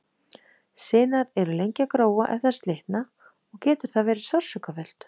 Sinar eru lengi að gróa ef þær slitna og getur það verið sársaukafullt.